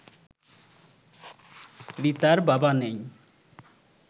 রিতার বাবা নেই